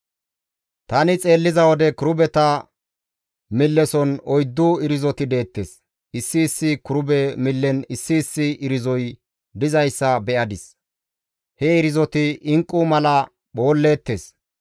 Tani xeelliza wode kirubeta milleson oyddu irzoti deettes; issi issi kirube millen issi issi irzoy dizayssa be7adis; he irzoti inqqu mala phoolleettes.